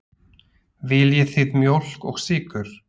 Viljið þið mjólk og sykur?